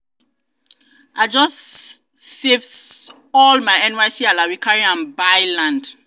i just just save all my nysc um alawee carry am buy um land.